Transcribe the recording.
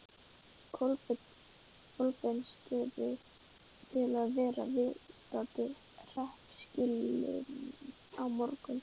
Kolbeinsstöðum til að verða viðstaddir hreppskilin á morgun.